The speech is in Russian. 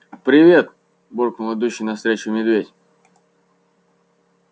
привет буркнул идущий навстречу медведь